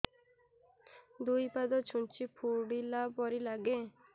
ଦୁଇ ପାଦ ଛୁଞ୍ଚି ଫୁଡିଲା ପରି ଲାଗେ